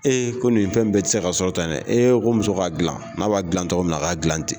Ee ko nin fɛn bɛɛ tɛ se ka sɔrɔ tan dɛ e ko muso k'a dilan n'a b'a dilan cɔgɔ min na a k'a dilan ten